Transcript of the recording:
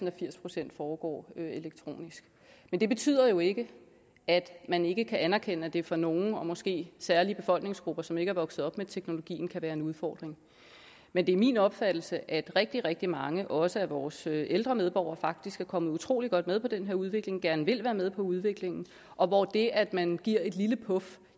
at firs procent foregår elektronisk men det betyder jo ikke at man ikke kan anerkende at det for nogle og måske særlige befolkningsgrupper som ikke er vokset op med teknologien kan være en udfordring men det er min opfattelse at rigtig rigtig mange også af vores ældre medborgere faktisk er kommet utrolig godt med på den her udvikling og gerne vil være med på udviklingen og hvor det at man giver et lille puf